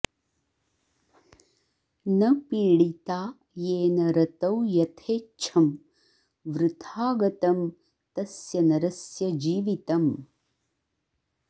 न पीडिता येन रतौ यथेच्छं वृथा गतं तस्य नरस्य जीवितम्